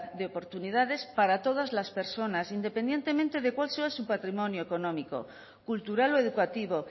de oportunidades para todas las personas independientemente de cuál sea su patrimonio económico cultural o educativo